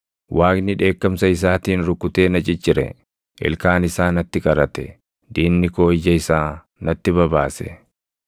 Waaqni dheekkamsa isaatiin rukutee na ciccire; ilkaan isaa natti qarate; diinni koo ija isaa natti babaase.